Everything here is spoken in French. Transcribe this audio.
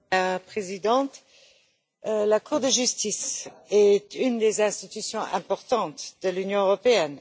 Madame la Présidente, la Cour de justice est l'une des institutions importantes de l'Union européenne.